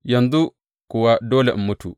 Yanzu kuwa dole in mutu!